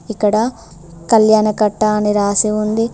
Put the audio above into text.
ఇక్కడ కళ్యాణకట్ట అని రాసి ఉంది.